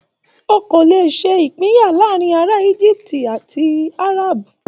O kò lè ṣe ìpinyà láàárína ará Egypt àti Arab.